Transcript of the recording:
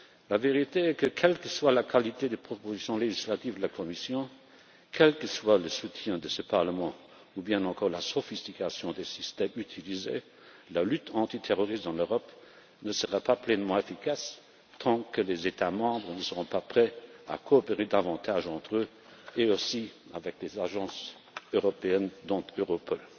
La vérité est que, quelle que soit la qualité des propositions législatives de la Commission, quel que soit le soutien de ce Parlement ou bien encore la sophistication des systèmes utilisés, la lutte antiterroriste en Europe ne sera pas pleinement efficace tant que les États membres ne seront pas prêts à coopérer davantage entre eux et avec les agences européennes, dont Europol.